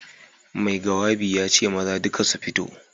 Mai gawabi ya ce maza duka su fito.